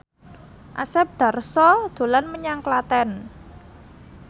Asep Darso dolan menyang Klaten